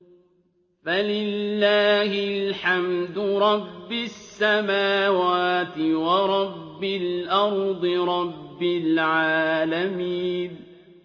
فَلِلَّهِ الْحَمْدُ رَبِّ السَّمَاوَاتِ وَرَبِّ الْأَرْضِ رَبِّ الْعَالَمِينَ